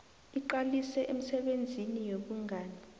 iqalise emisebenzini yobungani